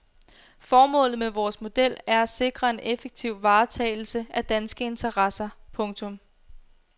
Formålet med vores model er at sikre en effektiv varetagelse af danske interesser. punktum